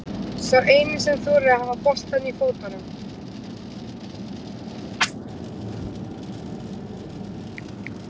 Sá eini sem þorir að hafa boltann í fótunum.